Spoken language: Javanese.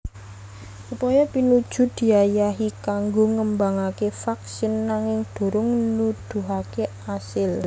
Upaya pinuju diayahi kanggo ngembangaké vaksin nanging durung nuduhaké asil